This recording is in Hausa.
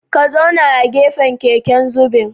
Ka zauna a gefen keken zubin